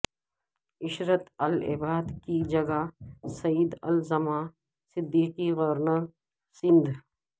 عشرت العباد کی جگہ سعید الزماں صدیقی گورنر سندھ